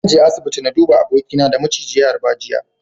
Zan je asibiti na duba abokina da maciji ya harba jiya.